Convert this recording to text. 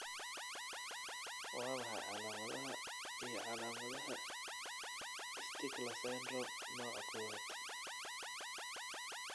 Waa maxay calaamadaha iyo calaamadaha Stickler syndrome nooca kowaad ?